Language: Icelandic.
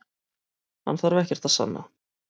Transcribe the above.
Hann þarf ekkert að sanna